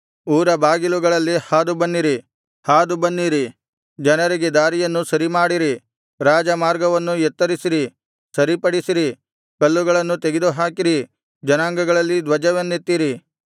ಊರ ಬಾಗಿಲುಗಳಲ್ಲಿ ಹಾದು ಬನ್ನಿರಿ ಹಾದು ಬನ್ನಿರಿ ಜನರಿಗೆ ದಾರಿಯನ್ನು ಸರಿಮಾಡಿರಿ ರಾಜಮಾರ್ಗವನ್ನು ಎತ್ತರಿಸಿರಿ ಸರಿಪಡಿಸಿರಿ ಕಲ್ಲುಗಳನ್ನು ತೆಗೆದುಹಾಕಿರಿ ಜನಾಂಗಗಳಲ್ಲಿ ಧ್ವಜವನ್ನೆತ್ತಿರಿ